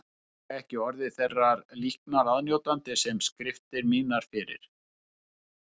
Hefði ég ekki orðið þeirrar líknar aðnjótandi sem skriftir mínar fyrir